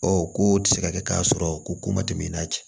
Ɔ ko tɛ se ka kɛ k'a sɔrɔ ko ko ma tɛmɛ i n'a cɛ